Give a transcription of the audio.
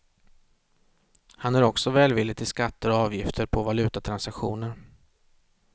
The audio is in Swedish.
Han är också välvillig till skatter och avgifter på valutatransaktioner.